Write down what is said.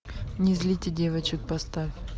не злите девочек поставь